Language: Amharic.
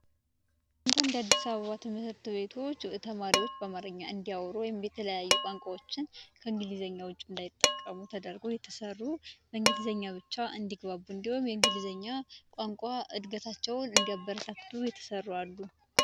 አንዳንድ የአዲስ አበባ ትምህርት ቤቶች ተማሪዎች በአማርኛ እንዲያወሩ ወይም የተለያየ ቋንቋዎችን ከእንግሊዝኛ ውጪ እንዳይጠቀሙ ተደርጎ የተሰሩ በእንግሊዝኛ ብቻ እንዲግባቡ እንዲሁም የእንግሊዝኛ ቋንቋ እድገታቸውን እንዲያበረታቱ የተሰሩ አሉ።